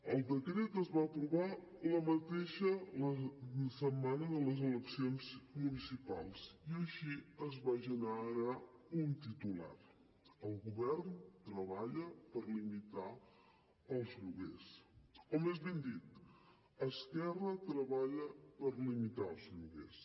el decret es va aprovar la mateixa setmana de les eleccions municipals i així es va generar un titular el govern treballa per limitar els lloguers o més ben dit esquerra treballa per limitar els lloguers